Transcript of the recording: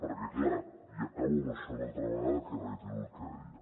perquè clar i acabo amb això una altra vegada que reitero el que deia